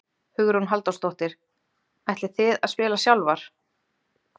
Hugrún Halldórsdóttir: Ætlið þið að spila sjálfar?